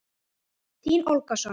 Þín, Olga Sonja.